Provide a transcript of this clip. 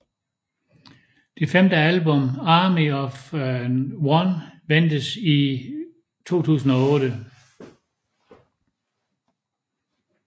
Det femte album Army Of One ventes i 2008